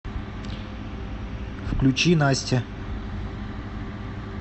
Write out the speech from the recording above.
включи настя